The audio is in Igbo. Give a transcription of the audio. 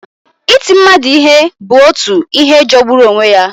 Iti mmadụ ihe bụ otu ihe jọgburu onwe ya.